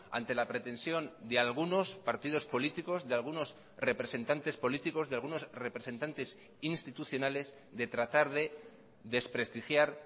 ante la pretensión de algunos partidos políticos de algunos representantes políticos de algunos representantes institucionales de tratar de desprestigiar